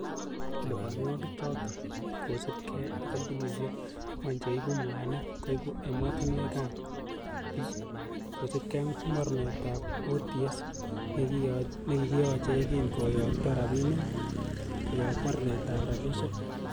Liponwogik choton ko kosiibge ak kompunisiek angwan che iibu mwanik koib emotinwek ab bii, kosiibge ak mornetab OTS, nekikiyoche yekin koyokto rabinik koyob mornetab rabishek.